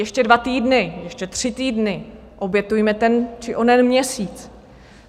Ještě dva týdny, ještě tři týdny, obětujme ten či onen měsíc.